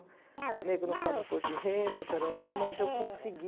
O nego não paga imposto de renda, mas eu consegui.